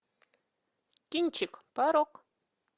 кинчик порок